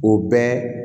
O bɛɛ